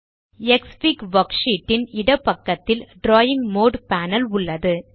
க்ஸ்ஃபிக் worksheet ன் இடப்பக்கத்தில் drawing mode panel உள்ளது